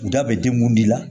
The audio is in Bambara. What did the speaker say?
Da bɛ di mun de la